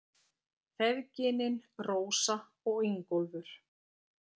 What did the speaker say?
Feðginin, Rósa og Ingólfur.